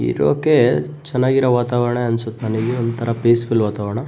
ಇರೊಕೆ ಚೆನ್ನಾಗಿರೊ ವಾತಾವರಣ ಅನ್ಸುತ್ತೆ ನನ್ಗೆ ಒಂತರ ಪೀಸ್ಫುಲ್ಲ್ ವಾತಾವರಣ.